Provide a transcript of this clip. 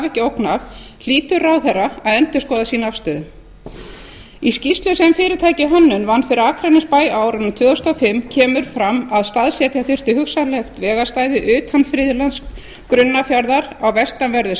ekki ógn af hlýtur ráðherra að endurskoða sína afstöðu í skýrslu sem fyrirtækið hönnun vann fyrir akranesbæ á árinu tvö þúsund og fimm kemur fram að staðsetja þyrfti hugsanlegt vegarstæði utan friðlands grunnafjarðar á vestanverðum